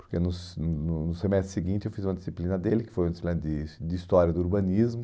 Porque no se no no semestre seguinte eu fiz uma disciplina dele, que foi uma disciplina de de história do urbanismo.